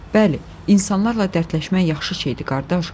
Bəli, insanlarla dərdləşmək yaxşı şeydir, qardaş.